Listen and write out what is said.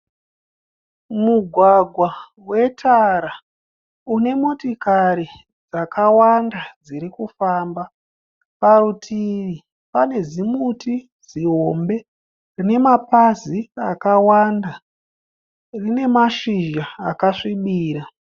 Mugwagwa wetara une motikari dzakawanda dziri kufamba. Parutivi pane zimuti zihombe rine mapazi akawanda. Rine mashizha akasvibira.